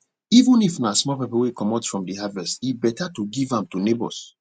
even if na small pepper wey comot from de harvest e beta to give am to neighbors